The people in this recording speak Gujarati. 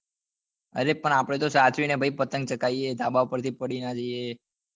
અરે પણ આપડે તો ભાઈ સાચવી ને પતંગ ચગાવીએ ધાબા પર થી પડી નાં જઈએ